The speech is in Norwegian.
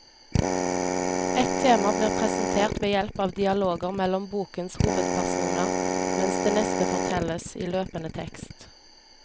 Ett tema blir presentert ved hjelp av dialoger mellom bokens hovedpersoner, mens det neste fortelles i løpende tekst.